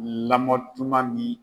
Lamɔtuma min